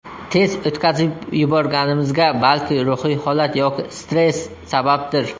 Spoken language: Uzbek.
Tez o‘tkazib yuborganimizga balki ruhiy holat yoki stress sababdir.